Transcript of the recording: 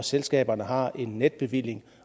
selskaberne har en netbevilling